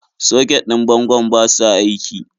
Soket ɗin bangon ba sa aiki.